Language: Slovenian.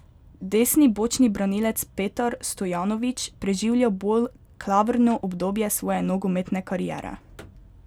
Desni bočni branilec Petar Stojanović preživlja bolj klavrno obdobje svoje nogometne kariere.